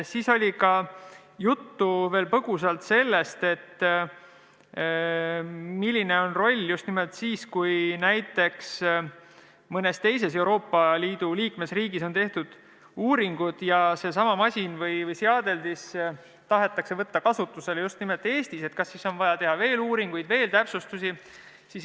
Siis oli juttu põgusalt sellest, milline on roll siis, kui näiteks mõnes teises Euroopa Liidu liikmesriigis on tehtud uuringud ja seesama masin või seadeldis tahetakse võtta kasutusele just nimelt Eestis, et kas siis on vaja teha veel uuringuid, veel täpsustusi.